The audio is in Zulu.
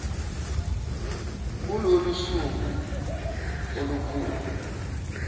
kulolu suku olukhulu